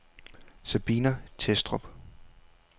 Sabina Thestrup